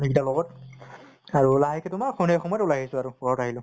family গিতাৰ লগত আৰু লাহেকে তোমাৰ সন্ধিয়া সময়ত ওলাই আহিছো আৰু, ঘৰত আহিলো।